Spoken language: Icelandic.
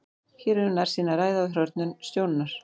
Hér er um nærsýni að ræða og hrörnun sjónunnar.